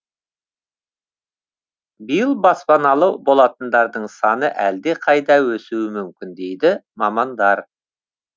биыл баспаналы болатындардың саны әлдеқайда өсуі мүмкін дейді мамандар